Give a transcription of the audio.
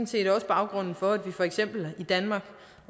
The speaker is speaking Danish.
set også baggrunden for at for eksempel i danmark